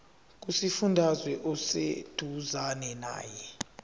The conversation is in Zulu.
kusifundazwe oseduzane nawe